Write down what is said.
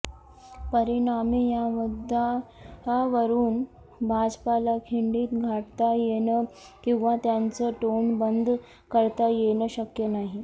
परिणामी या मुद्द्यावरून भाजपला खिंडीत गाठता येणं किंवा त्यांचं तोंड बंद करता येणं शक्य नाही